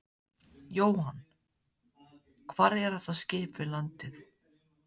Jóhann: Hvar er þetta skip við landið?